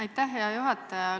Aitäh, hea juhataja!